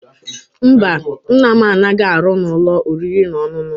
Mba, Nna m anaghi aru n'ulo oriri na onunu